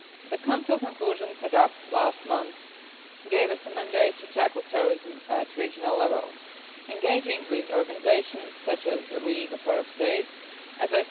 The Council conclusions adopted last month gave us a mandate to tackle terrorism at regional level, engaging with organisations such as the LAS.